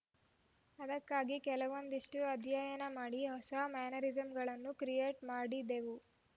ಅದಕ್ಕಾಗಿ ಕೆಲವೊಂದಷ್ಟುಅಧ್ಯಯನ ಮಾಡಿ ಹೊಸ ಮ್ಯಾನರಿಸಮ್‌ಗಳನ್ನು ಕ್ರಿಯೇಟ್‌ ಮಾಡಿದೆವು